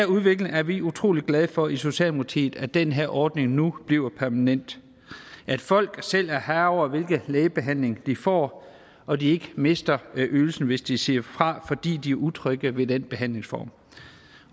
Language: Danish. udvikling er vi utrolig glade for i socialdemokratiet altså at den her ordning nu bliver permanent at folk selv er herre over hvilken lægebehandling de får og at de ikke mister ydelsen hvis de siger fra fordi de er utrygge ved den behandlingsform